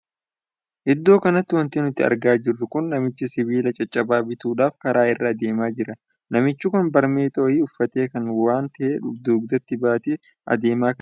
Iddoo kanatti wanti nuti argaa jirru kun namicha sibiila caccabaa bituudhaaf karaa irra adeemaa jira. namichi kun baarmexaa wayii uffatee waan tahe dugdatti baatee adeemaa kan jiruudha. akkasuma illee iddoo kanatti wantoota addaa addaatu argamaa jira.